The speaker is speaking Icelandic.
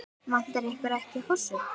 Vantar ykkur ekki hosur?